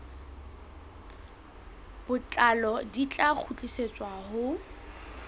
botlalo di tla kgutlisetswa ho